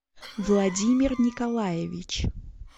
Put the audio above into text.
владимир николаевич